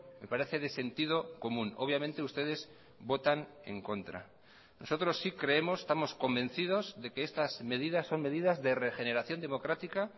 me parece de sentido común obviamente ustedes votan en contra nosotros sí creemos estamos convencidos de que estas medidas son medidas de regeneración democrática